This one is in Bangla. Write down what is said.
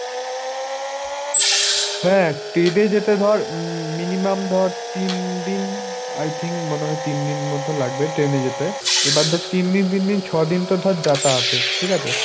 হা, ট্রেনে যেতে ধর উম minimum ধর তিন দিন, I think মনে হয় তিন দিন মতো লাগবে ট্রেনে যেতে, এবার ধর তিন দিন তিন দিন ছ' দিন তো ধর যাতায়াতে, ঠিক আছে।